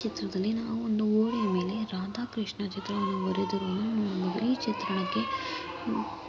ಈ ಚಿತ್ರ ದಲ್ಲಿ ಗೋಡೆಯ ಮೇಲೆ ರಾಧಾ ಕೃಷ್ಣ ಚಿತ್ರವನ್ನು ನೋಡಬಹುದು ಈ ಚಿತ್ರಣ ಕೆ ಬೇರೆ ಬೇರೆ ನೀಲಿ ಬಣ್ಣ ಹಾಗೂ ಹಸಿರು ಬಣ್ಣ ಹಾಗೂ ಕೆಂಪು ಬಣ್ಣ ಅನ್ನು ಹಾಕಿದರೆ.